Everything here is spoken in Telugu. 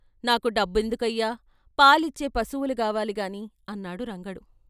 "నాకు డబ్బెందుకయ్యా, పాలిచ్చే పశువులు గావాలి గాని" అన్నాడు రంగడు.